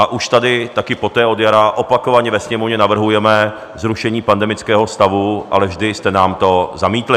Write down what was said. A už tady taky poté od jara opakovaně ve Sněmovně navrhujeme zrušení pandemického stavu, ale vždy jste nám to zamítli.